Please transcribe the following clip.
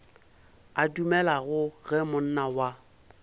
a dumelago ge monna wa